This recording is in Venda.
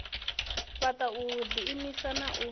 fhaṱa u ḓiimisa na u